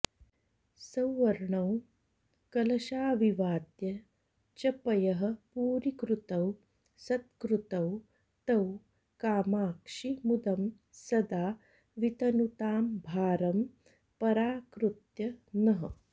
सौवर्णौ कलशाविवाद्य च पयःपूरीकृतौ सत्कृतौ तौ कामाक्षि मुदं सदा वितनुतां भारं पराकृत्य नः